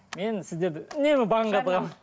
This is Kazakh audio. мен сіздерді үнемі банға тығамын